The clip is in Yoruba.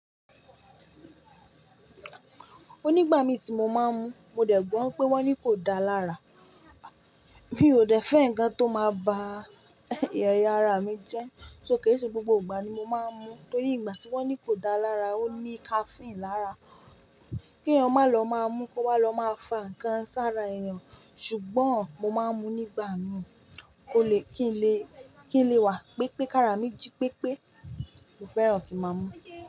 O nígbà mí tí mo máa ń mu, mo dẹ̀ gbọ́ pé wón ní kò dáa lára. Mi ò dẹ̀ fẹ́ ǹkan tó máa ba ẹ̀yà ara mi jẹ́, só ké i se gbogbo ìgbà ni mo máa ń mu. Nítorí ìgbà tí wọ́n ní kò dáa lára, ó ní caffeine lára, kí èèyàn má lọ máa mú kó wá lọ máa fà ǹkan sára èèyàn. Ṣùgbọ́n mo máa ń mu nígbà mìí, ó lè kí n lè, kí n lè wà, pẹ́ pẹ́ kára mi jí pẹ́ pẹ́. Mo fẹ́ràn kí máa ń mu.